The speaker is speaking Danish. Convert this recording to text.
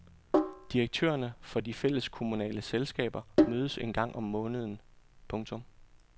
Direktørerne for de fælleskommunal selskaber mødes en gang om måneden. punktum